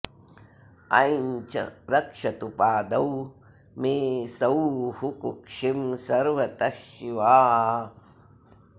ऐं च रक्षतु पादौ मे सौः कुक्षिं सर्वतः शिवा